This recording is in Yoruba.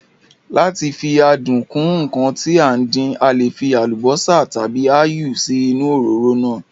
Lá ti fi adùn kún ǹkan tí à ń dín, a le fí àlùbósà tàbí áyù sí inú òróró náà